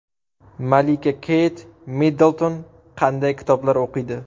Malika Keyt Middlton qanday kitoblar o‘qiydi?